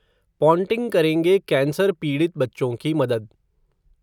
Ponting करेंगे cancer पीड़ित बच्चों की मदद